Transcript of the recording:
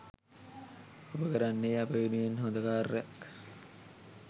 ඔබ කරන්නේ අප වෙනුවෙන් හොද කාර්යයක්.